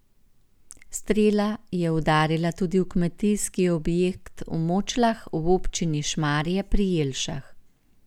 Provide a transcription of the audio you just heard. Strela je udarila tudi v kmetijski objekt v Močlah v občini Šmarje pri Jelšah.